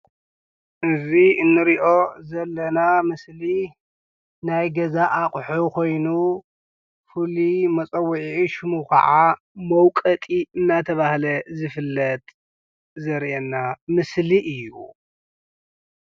እዚ እንሪኦ ዘለና ምስሊ ናይ ገዛ ኣቑሑ ኾይኑ ፍሉይ መፀዊዒ ሽሙ ከዓ መውቐጢ እናተባህለ ዝፍለጥ ዘርእየና ምስሊ እዩ፡፡